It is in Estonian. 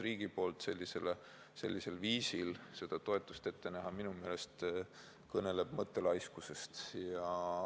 Aga kui riik sellisel viisil seda toetust ette näeb, siis minu meelest kõneleb see mõttelaiskusest.